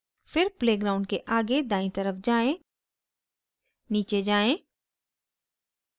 फिर play ground के आगे दायीं तरफ जाएँ नीचे जाएँ